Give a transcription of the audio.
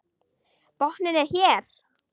Botninn er hér!